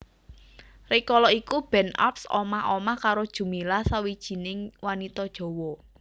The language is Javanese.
Rikala iku Ben Arps omah omah karo Djumilah sawijining wanita Jawa